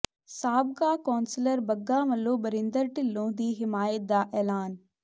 ਸਾਬਕਾ councillor Bagga ਵੱਲੋਂ ਬਰਿੰਦਰ ਢਿੱਲੋਂ ਦੀ ਹਮਾਇਤ ਦਾ ਐਲਾਨ